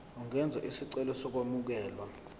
ungenza isicelo sokwamukelwa